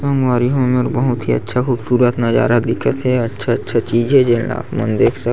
संवरी हो एमेर बहुत ही अच्छा खूबसूरत नज़ारा दिखत हे अच्छा-अच्छा चीज हे जेन ल आप देख सकत--